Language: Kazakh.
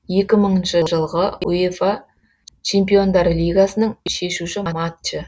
екі мыңыншы жылғы уефа чемпиондар лигасының шешуші матчы